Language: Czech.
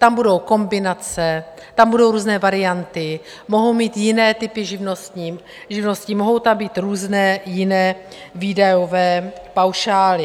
Tam budou kombinace, tam budou různé varianty, mohou mít jiné typy živností, mohou tam být různé jiné výdajové paušály.